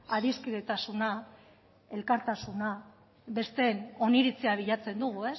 adiskidetasuna elkartasuna besteen oniritzia bilatzen dugu